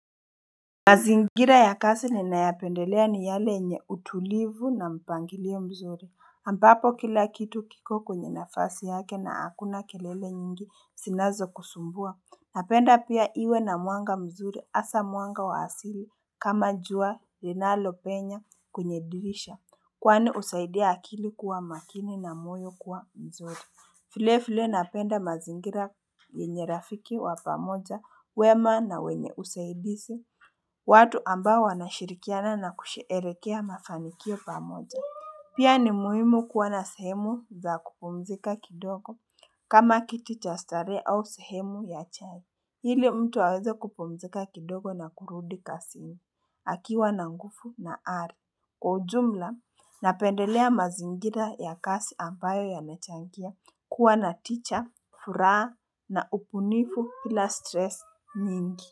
Mazingira ya kasi ni ninyapendelea ni yale yenye utulivu na mpangilio mzuri ambapo kila kitu kiko kwenye nafasi yake na hakuna kelele nyingi sinazo kusumbua Napenda pia iwe na muanga mzuri hasa mwanga wa asili kama jua linalo penya kwenye dirisha Kwani husaidia akili kuwa makini na moyo kuwa mzuri vile vile napenda mazingira yenye rafiki wa pamoja wema na wenye usaidizi watu ambao wanashirikiana na kusheerekea mafanikio pamoja, pia ni muhimu kuwa na sehemu za kupumzika kidogo kama kiti cha stare au sehemu ya chai, ili mtu aweze kupumzika kidogo na kurudi kazini akiwa na nguvu na are kwa ujumla napendelea mazingira ya kazi ambayo yamechangia kuwa na teacher, furaa na upunifu pila stress mingi.